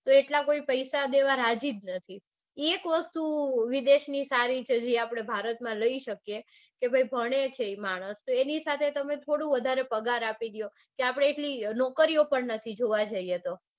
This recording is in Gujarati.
તો એટલા કોઈ પૈસા દેવા રાજી જ નથી. એક વસ્તુ વિદેશની સારી છે જે આપડે ભારતમાં લઇ શકીયે કે ભાઈ ભણે છે માણસ તો એની સાથે થોડું વધારે પગાર આપી દો કે આપડે એટલી નોકરીઓ પણ નથી જોવા જઇયે તો